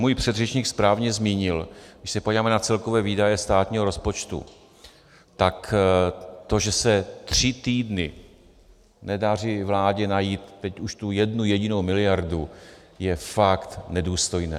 Můj předřečník správně zmínil, když se podíváme na celkové výdaje státního rozpočtu, tak to, že se tři týdny nedaří vládě najít teď už tu jednu jedinou miliardu, je fakt nedůstojné.